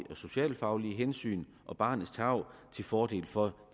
socialfaglige hensyn og barnets tarv til fordel for